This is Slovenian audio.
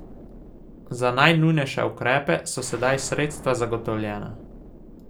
Za najnujnejše ukrepe so sedaj sredstva zagotovljena.